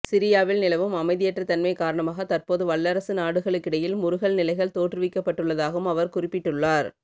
சிரியாவில் நிலவும் அமைதியற்ற தன்மை காரணமாக தற்போது வல்லரசு நாடுகளுக்கிடையில் முறுகல் நிலைகள் தோற்றுவிக்கப்பட்டுள்ளதாகவும் அவர் குறிப்பிட்டுள்ளார்